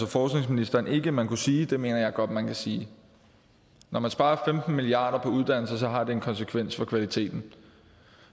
forskningsministeren ikke man kunne sige men det mener jeg godt man kan sige når man sparer femten milliard kroner på uddannelse har det en konsekvens for kvaliteten